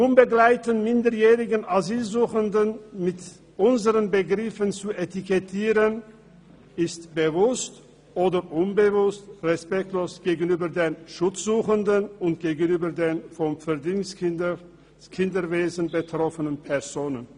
Die UMA mit unseren Begriffen zu etikettieren, ist – bewusst oder unbewusst – respektlos gegenüber den Schutzsuchenden und gegenüber den vom Verdingkinderwesen betroffenen Personen.